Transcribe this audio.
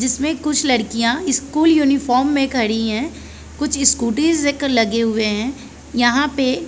जिसमे कुछ लड़किया स्कूल यूनिफार्म में खड़ी है कुछ स्कूटी लगे हुए है यहाँ पे--